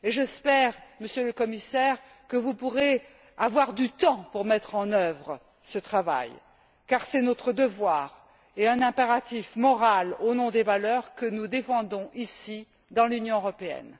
J'espère, Monsieur le Commissaire, que vous pourrez avoir du temps pour mettre en œuvre ce travail, car c'est notre devoir et un impératif moral au nom des valeurs que nous défendons ici, dans l'Union européenne.